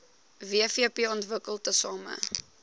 wvp ontwikkel tesame